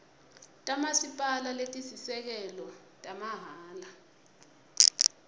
tamasipala letisisekelo tamahhala